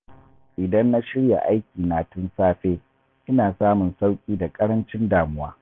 Idan na shirya aikina tun safe, ina samun sauƙi da ƙarancin damuwa.